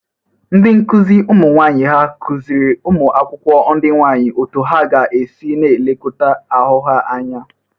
Ndị nkụzị ụmụ nwaanyị ha gọzịrị ụmụ akwụkwọ ndị nwaanyị otu ha ga-esi na-elekọta ahụ ha anya?